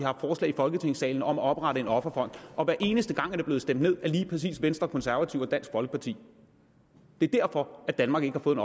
i folketingssalen om at oprette en offerfond og hver eneste gang er det blevet stemt ned af lige præcis venstre konservative og dansk folkeparti det er derfor at danmark ikke har fået